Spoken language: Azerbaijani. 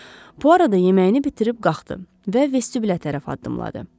Bu arada yeməyini bitirib qalxdı və vestibülə tərəf addımladı.